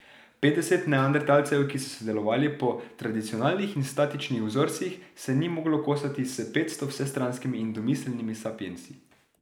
Petdeset neandertalcev, ki so sodelovali po tradicionalnih in statičnih vzorcih, se ni moglo kosati s petsto vsestranskimi in domiselnimi sapiensi.